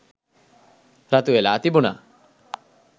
රතුවෙලා තිබුණා.